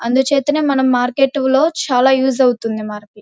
అందుచేతనే మనం మార్కెట్లో చాలా యూస్ అవుతుంది మనకి.